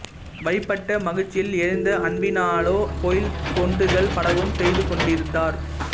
வழிபட்ட மகிழ்ச்சியில் எழுந்த அன்பினாலே கோயில் தொண்டுகள் பலவும் செய்து கொண்டிருந்தார்